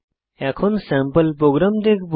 এখন sample program দেখব